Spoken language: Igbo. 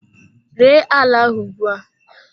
Ree ala ahụ ugbua!